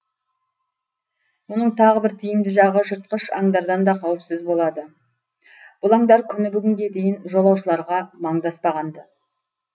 мұның тағы бір тиімді жағы жыртқыш аңдардан да қауіпсіз болады бұл аңдар күні бүгінге дейін жолаушыларға маңдаспаған ды